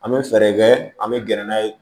An bɛ fɛɛrɛ kɛ an bɛ gɛrɛ n'a ye